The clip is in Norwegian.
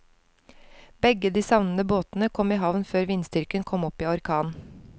Begge de savnede båtene kom i havn før vindstyrken kom opp i orkan.